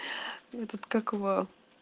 этот как его